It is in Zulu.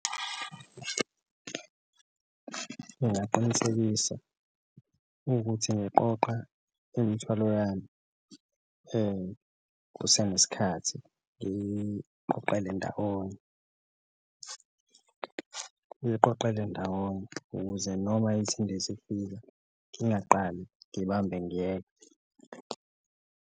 Ungaqinisekisa ukuthi ngiqoqa imithwalo yami kusanesikhathi ngiyiqoqele ndawonye, uyiqoqele ndawonye ukuze noma ithi indiza ifika ingaqali ngibambe ngiyeka.